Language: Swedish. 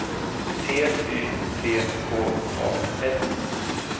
T Y C K A S